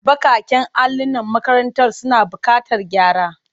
Baƙaƙen allolin makarantar suna buƙatar gyara.